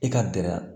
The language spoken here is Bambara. I ka dɛrɛ